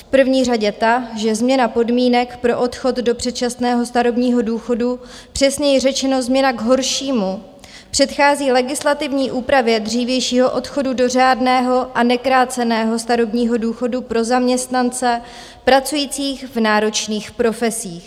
V první řadě ta, že změna podmínek pro odchod do předčasného starobního důchodu, přesněji řečeno změna k horšímu, předchází legislativní úpravě dřívějšího odchodu do řádného a nekráceného starobního důchodu pro zaměstnance pracující v náročných profesích.